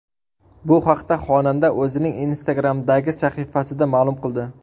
Bu haqda xonanda o‘zining Instagram’dagi sahifasida ma’lum qildi .